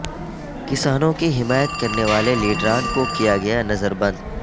کسانوں کی حمایت کرنے والے لیڈرا ن کو کیا گیا نظر بند